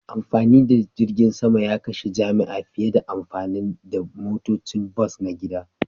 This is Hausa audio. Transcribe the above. Amfani da jirgin sama ya kashe jami'a fiye da amfani da motocin bas na gida